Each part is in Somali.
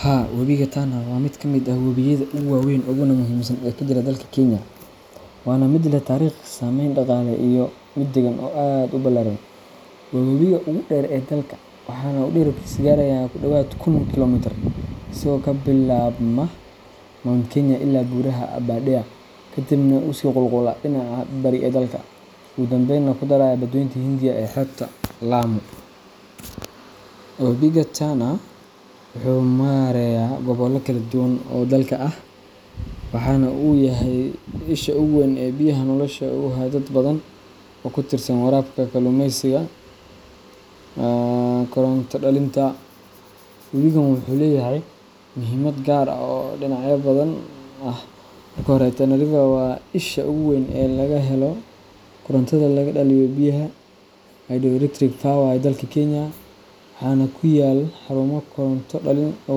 Haa, Wabiga Tana waa mid ka mid ah wabiyada ugu waaweyn uguna muhiimsan ee ka jira dalka Kenya, waana mid leh taariikh, saameyn dhaqaale, iyo mid deegaan oo aad u ballaaran. Waa wabiga ugu dheer ee dalka, waxaana uu dhererkiisu gaarayaa ku dhawaad kun kiiloomitir, isagoo ka bilaabma Mount Kenya iyo buuraha Aberdare, kadibna u sii qulqulaya dhinaca bari ee dalka, ugu dambeyna ku daraya badweynta Hindiya ee xeebta Lamu. Wabiga Tana wuxuu mareeyaa gobollo kala duwan oo dalka ah, waxaana uu u yahay isha ugu weyn ee biyaha nolosha u haya dad badan oo ku tiirsan waraabka, kalluumeysiga, iyo koronto dhalinta. Wabigan wuxuu leeyahay muhiimad gaar ah oo dhinacyo badan ah. Marka hore, Tana River waa isha ugu weyn ee laga helo korontada laga dhaliyo biyaha hydroelectric power ee dalka Kenya, waxaana ku yaal xarumo koronto-dhalin oo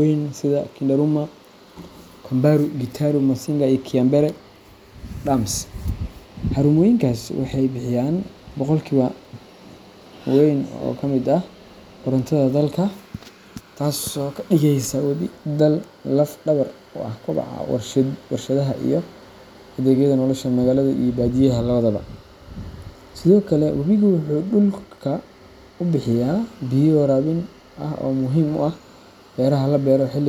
waaweyn sida Kindaruma, Kamburu, Gitaru, Masinga, iyo Kiambere Dams. Xarumooyinkaas waxay bixiyaan boqolkiiba weyn oo ka mid ah korontada dalka, taasoo ka dhigeysa wabiga laf-dhabar u ah koboca warshadaha iyo adeegyada nolosha magaalada iyo baadiyaha labadaba. Sidoo kale, wabigu wuxuu dhulka u bixiyaa biyo waraabin ah oo muhiim u ah beeraha la beero xilliga.